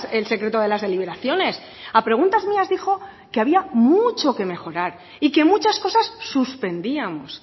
el secreto de las deliberaciones a preguntas mías dijo que había mucho que mejorar y que muchas cosas suspendíamos